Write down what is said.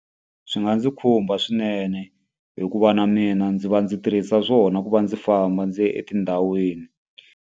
Swi nga ndzi khumba swinene, hikuva na mina ndzi va ndzi tirhisa swona ku va ndzi famba ndzi ya etindhawini.